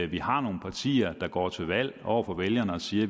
vi har nogle partier der går til valg på over for vælgerne at sige at